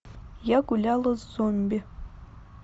я гуляла с зомби